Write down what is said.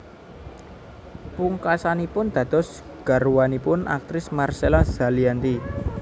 Pungkasanipun dados garwanipun aktris Marcella Zalianty